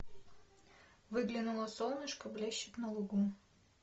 выглянуло солнышко блещет на лугу